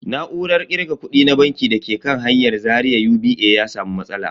Na'urar kirga kudi na banki da ke kan hanyar Zaria UBA ya samu matsala.